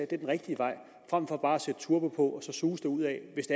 den rigtige vej frem for bare at sætte turbo på og så suse derudad hvis